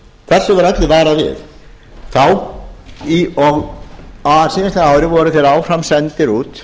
eru sprottnir úr þessu var öllu varað við á síðasta ári voru þeir áfram sendir út